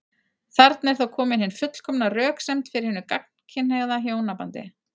Þarna er þá komin hin fullkomna röksemd fyrir hinu gagnkynhneigða hjónabandi.